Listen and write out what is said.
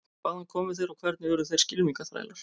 Hvaðan komu þeir og hvernig urðu þeir skylmingaþrælar?